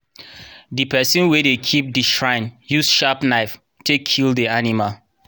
the person wey dey keep the shrine use sharp knife take kill the animal